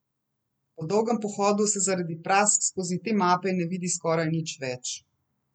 Po dolgem pohodu se zaradi prask skozi te mape ne vidi skoraj nič več.